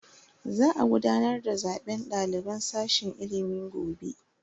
Za a gudanar da zaben daliban sashen ilimi gobe.